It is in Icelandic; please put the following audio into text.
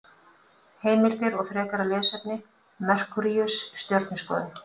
Heimildir og frekara lesefni: Merkúríus- Stjörnuskoðun.